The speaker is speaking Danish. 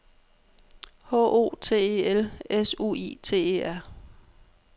H O T E L S U I T E R